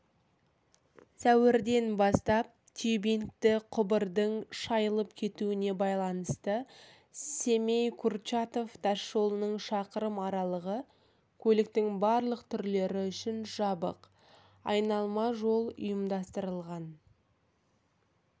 сәуірден бастап тюбингті құбырдың шайылып кетуіне байланысты семей-курчатов тасжолының шақырым аралығы көліктің барлық түрлері үшін жабық айналма жол ұйымдастырылған